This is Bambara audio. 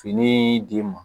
Fini d'i ma